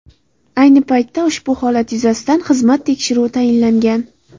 Ayni paytda ushbu holat yuzasidan xizmat tekshiruvi tayinlangan.